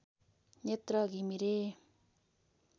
Netra Ghimire